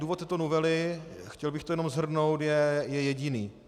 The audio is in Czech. Důvod této novely, chtěl bych to jenom shrnout, je jediný.